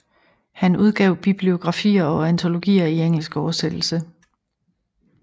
Han udgav bibliografier og antologier i engelsk oversættelse